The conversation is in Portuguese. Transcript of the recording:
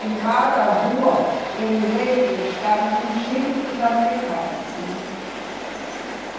Em cada rua, eu me lembro, estava um, um chip dos americanos, né?